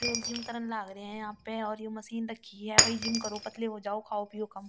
यो लोग जिम करन लाग रहे है यहाँ पे और ये मशीन रखी है भई जिम करो पतले हो जाओ खाओ पियो कम।